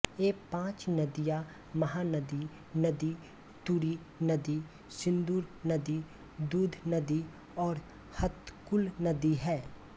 ये पांच नदिया महानदी नदी तुरु नदी सिन्दुर नदी दूध नदी और हतकुल नदी हैं